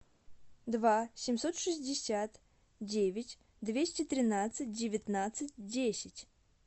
два семьсот шестьдесят девять двести тринадцать девятнадцать десять